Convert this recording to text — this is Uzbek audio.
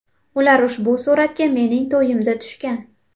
Ular ushbu suratga mening to‘yimda tushgan.